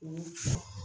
O